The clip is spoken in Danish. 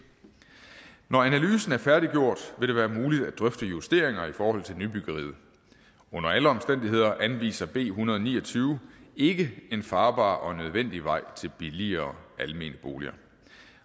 når analysen er færdiggjort vil det være muligt at drøfte justeringer i forhold til nybyggeriet under alle omstændigheder anviser b en hundrede og ni og tyve ikke en farbar og nødvendig vej til billigere almene boliger